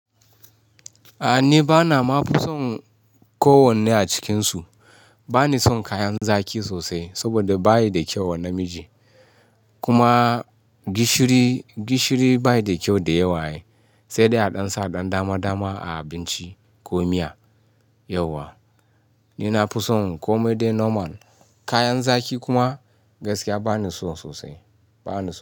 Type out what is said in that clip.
A'a ni bana ma son ko wanne a cikinsu. Bana son kayan zaƙi sosai saboda bayi da kyau wa namiji. Kuma gishiri, gishiri bashi da kyau da yawa ai, sai dai a ɗan sa ɗan dama dama a abinci ko miya yauwa. Ni na fi son komai dai normal. Kayan zaki kuma gaskiya bani so sosai, bana so.